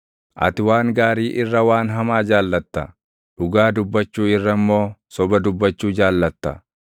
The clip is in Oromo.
Ati waan gaarii irra waan hamaa jaallatta; dhugaa dubbachuu irra immoo soba dubbachuu jaallatta.